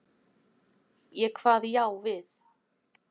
Ég kvað já við.